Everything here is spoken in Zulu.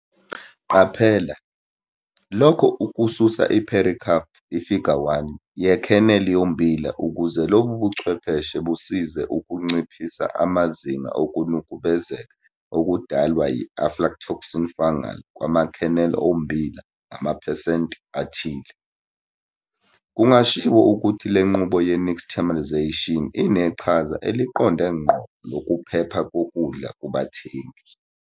Qaphela - Lokho ukususa i-pericarp, Ifiga 1, ye-kernel yommbila ukuze lo buchwepheshe busize ukunciphisa amazinga okunukubezeka okudalwa yi-aflatoxin fungal kwama-kernel ommbila ngamaphesenti athile. Kungashiwo ukuthi le nqubo ye-nixtamalisation ineqhaza eliqonde ngqo lokuphepha kokudla kubathengi.